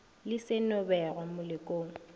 le se no begwa melokong